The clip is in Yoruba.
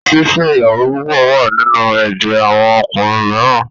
Fífẹ́ ìyàwó púpọ̀ wà nínú ẹ̀jẹ̀ àwọn ọkùnrin mìíràn.